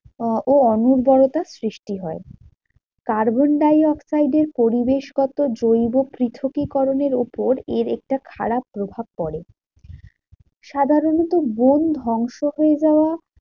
আহ ও অন্নদায়টা সৃষ্টি হয়। Carbon - die - oxide এর পরিবেশগত জৈব পৃথকীকরণের উপর এর একটা খারাপ প্রভাব পরে। সাধারণত বন ধ্বংস হয়ে যাওয়া